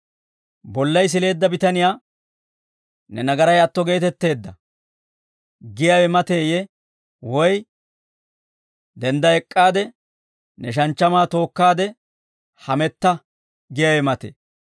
Bollay sileedda bitaniyaa, ‹Ne nagaray atto geetetteedda› giyaawe mateeyee? Woy, ‹Dendda ek'k'aade ne shanchchamaa tookkaade hametta› giyaawe matee?